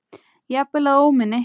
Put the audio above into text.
Jafnvel að óminni.